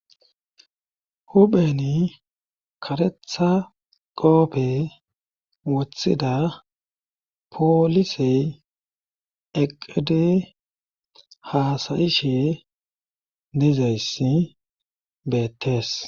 hupheni karetha goope woththida poolisey eqede haasayishe dizayssi beettees